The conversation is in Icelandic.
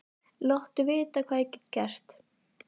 Láttu vita hvað ég get gert.